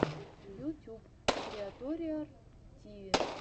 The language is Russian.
ютюб криаториар тиви